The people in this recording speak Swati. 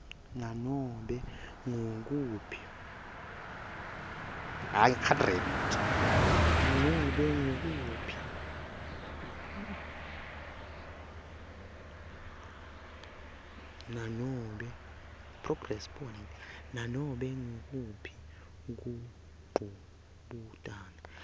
nobe ngukuphi kungcubutana